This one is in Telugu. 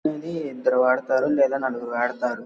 ఇది ఇద్దరు ఆడతారు లేదా నలుగురు ఆడతారు.